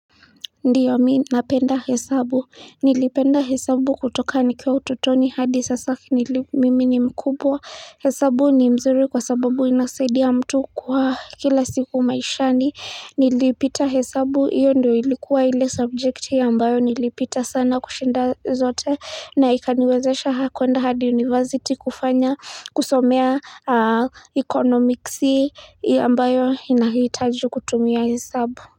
Ndio mimi napenda hesabu. Nilipenda hesabu kutoka nikiwa utotoni hadi sasa mimi ni mkubwa, hesabu ni mzuri kwa sababu inasaidia mtu kwa kila siku maishani nilipita hesabu hiyo ndio ilikuwa ile subject ambayo nilipita sana kushinda zote na ikaniwezesha kuenda hadi university kufanya kusomea economics ambayo inahitaji kutumia hesabu.